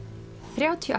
þrjátíu ár